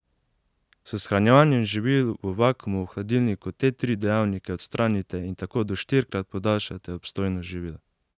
S shranjevanjem živil v vakuumu v hladilniku te tri dejavnike odstranite in tako do štirikrat podaljšate obstojnost živil.